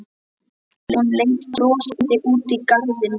Hún leit brosandi út í garðinn.